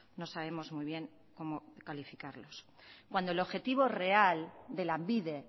no sabemos muy bien cómo calificarlos cuando el objetivo real de lanbide